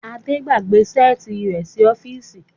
Ade gbàgbé Ṣẹ́ẹ̀tì rẹ sí ọfisi.